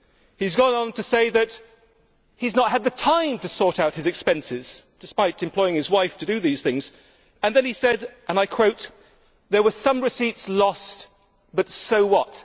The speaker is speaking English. He has gone on to say that he has not had the time to sort out his expenses, despite employing his wife to do these things, and then he said there were some receipts lost, but so what!